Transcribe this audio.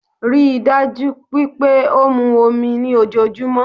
Ríi dájú wípé ó mu omi ní ojojúmó